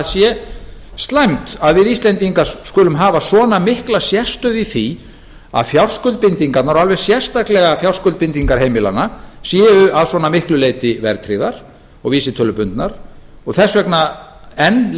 sé slæmt að við íslendingar skulum hafa svona mikla sérstöðu í því að fjárskuldbindingarnar og alveg sérstaklega fjárskuldbindingar heimilanna séu að svona miklu leyti verðtryggðar og vísitölubundnar og þess vegna enn